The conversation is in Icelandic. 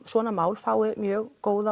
svona mál fái mjög góða